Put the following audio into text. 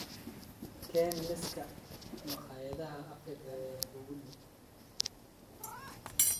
keen liiska makhaayadda Afrika ee kuugu dhow